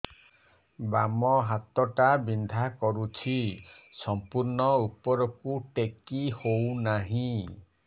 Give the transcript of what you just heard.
ବାମ ହାତ ଟା ବିନ୍ଧା କରୁଛି ସମ୍ପୂର୍ଣ ଉପରକୁ ଟେକି ହୋଉନାହିଁ